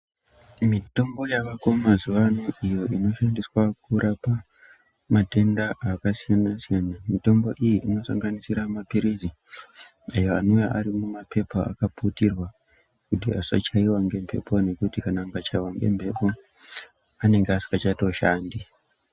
Mitombo yavako mazuva ano iyo ino shandiswa kurapa matenda akasiyana-siyana. Mitombo iyi ino sanganisira maphirizi ayo anouya arimumapepa akaputirwa kuti asachaiva ngemhepo. Ngekuti kana akachaiva ngemhepo anenge asika chatoshandi.